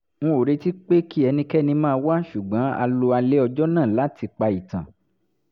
n ò retí pé kí ẹnikẹ́ni máa wá ṣùgbọ́n a lo alẹ́ ọjọ́ náà láti pa ìtàn